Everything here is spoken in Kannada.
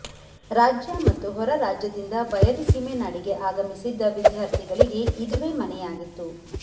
ರಾಜ್ಯ ಮತ್ತು ಹೊರರಾಜ್ಯದಿಂದ ಬಯಲುಸೀಮೆ ನಾಡಿಗೆ ಆಗಮಿಸಿದ್ದ ವಿದ್ಯಾರ್ಥಿಗಳಿಗೆ ಇದುವೇ ಮನೆಯಾಗಿತ್ತು